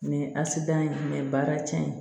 asidiya in baara cɛn ye